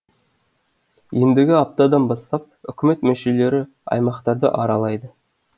ендігі аптадан бастап үкімет мүшелері аймақтарды аралайды